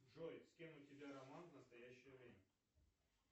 джой с кем у тебя роман в настоящее время